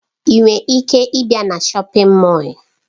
Ị nwere ike ịbịa na shọpin Mọll?